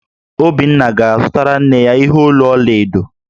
Obinna ga-azụtara nne ya ihe olu ọla edo